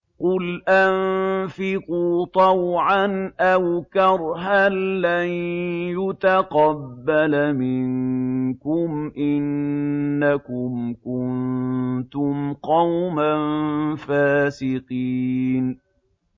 قُلْ أَنفِقُوا طَوْعًا أَوْ كَرْهًا لَّن يُتَقَبَّلَ مِنكُمْ ۖ إِنَّكُمْ كُنتُمْ قَوْمًا فَاسِقِينَ